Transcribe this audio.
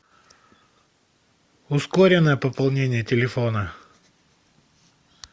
ускоренное пополнение телефона